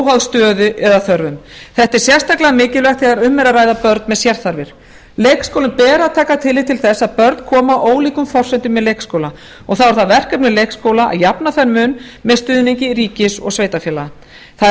óháð stöðu eða þörfum þetta er sérstaklega mikilvægt þegar um er að ræða börn með sérþarfir leikskólum ber að taka tillit til þess að börn koma á ólíkum forsendum í leikskóla og þá er það verkefni leikskóla að jafna þann mun með stuðningi ríkis og sveitarfélaga það er